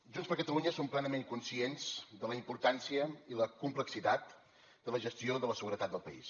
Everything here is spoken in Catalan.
junts per catalunya som plenament conscients de la importància i la complexitat de la gestió de la seguretat del país